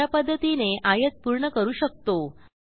अशा पध्दतीने आयत पूर्ण करू शकतो